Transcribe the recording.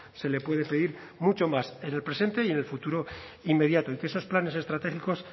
se le puede pedir mucho más en el presente y en el futuro inmediato y que esos planes estratégicos